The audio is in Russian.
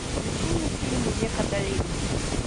включи мне фильм век адалин